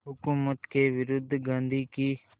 हुकूमत के विरुद्ध गांधी की